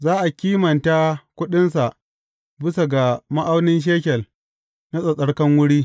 Za a kimata kuɗinsa bisa ga ma’aunin shekel na tsattsarkan wuri.